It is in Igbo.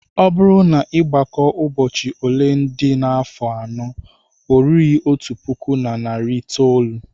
Ọ bụrụ na ị gbakọọ ụbọchị ole dị n'afọ anọ, o rughị otu puku na narị itoolu